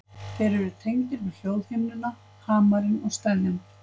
Þeir eru tengdir við hljóðhimnuna, hamarinn og steðjann.